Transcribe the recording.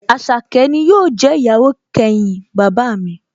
Àṣàkẹ́ ni yóò jẹ́ ìyàwó kẹyìn bàbá mi